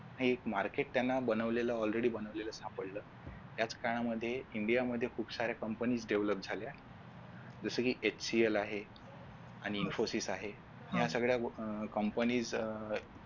हे एक Market त्यांना बनवलेलं all ready बनवलेलं सापडलं त्याच काळामध्ये India मध्ये खूप साऱ्या companysDevolop झाल्या जसे कि FCL आहे आणि Infosys आहे. या सगळ्या अं companies अं